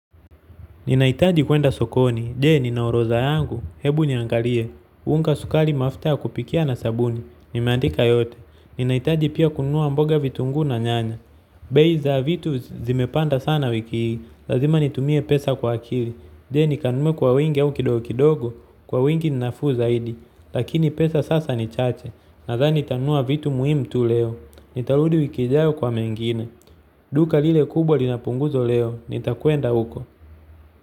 Ninahitaji kuenda sokoni, je, nina orodha yangu? Hebu niangalie. Unga, sukari, mafuta ya kupikia na sabuni, nimeandika yote. Ninahitaji pia kununua mboga, vitunguu na nyanya, bei za vitu zimepanda sana wiki hii, lazima nitumie pesa kwa akili, je, nikanunue kwa wingi au kidokidogo? Kwa wingi ni nafuu zaidi, lakini pesa sasa ni chache. Nadhani ntanunua vitu muhimu tu leo, nitarudi wiki ijayo kwa mengine. Duka lile kubwa lina punguzo leo, nitakwenda huko.